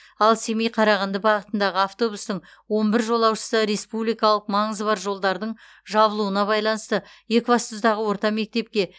ал семей қарағанды бағытындағы автобустың он бір жолаушысы республикалық маңызы бар жолдардың жабылуына байланысты екібастұздағы орта мектепке